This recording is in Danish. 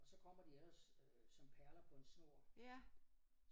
Og så kommer de ellers som perler på en snor